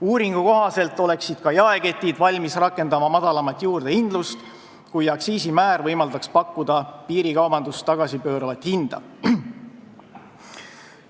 Uuringu kohaselt oleksid ka jaeketid valmis rakendama madalamat juurdehindlust, kui aktsiisimäär võimaldaks pakkuda piirikaubandust tagasipööravat hinda.